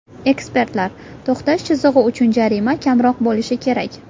Ekspertlar: to‘xtash chizig‘i uchun jarima kamroq bo‘lishi kerak.